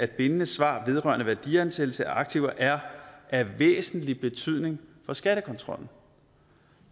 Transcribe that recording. bindende svar vedrørende værdiansættelse af aktiver er af væsentlig betydning for skattekontrollen